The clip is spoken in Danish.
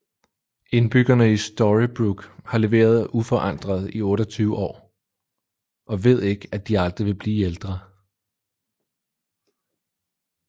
Indbyggerne i Storybrooke har levet uforandret i 28 år og ved ikke at de aldrig vil blive ældre